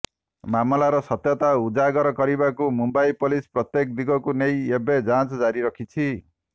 ମାମଲାର ସତ୍ୟତା ଉଜାଗର କରିବାକୁ ମୁମ୍ବାଇ ପୋଲିସ ପ୍ରତ୍ୟେକ ଦିଗକୁ ନେଇ ଏବେ ଯାଞ୍ଚ ଜାରି ରଖିଛି